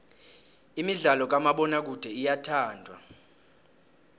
imidlalo kamabonakude iyathandwa